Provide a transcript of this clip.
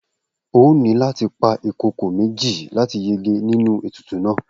O óò ní láti pa ìkokò méjì láti yege nínú ètùtù náà!